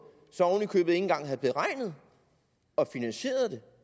så oven i købet ikke engang havde beregnet og finansieret det